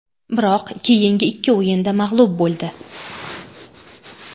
Biroq keyingi ikki o‘yinda mag‘lub bo‘ldi.